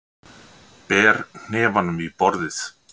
Ber hnefanum í borðið.